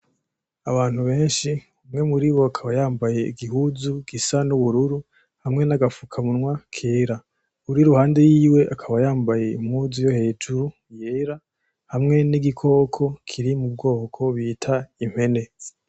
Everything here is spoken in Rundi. Abantu benshi ,umwe muribo akaba yambaye igihuzu gisa n'ubururu, hamwe n'agafukamunwa kera. Uwur' iruhande yiwe akaba yambaye impuzu yo hejuru yera, hamwe n'igikoko kiri mubwoko bita impene.